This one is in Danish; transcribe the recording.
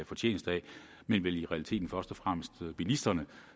fortjeneste af men vel i realiteten først og fremmest bilisterne